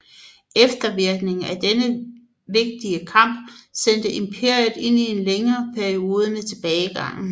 Eftervirkningerne af denne vigtige kamp sendte imperiet ind i en længere periode med tilbagegang